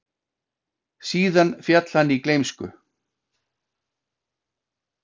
Síðan féll hann í gleymsku.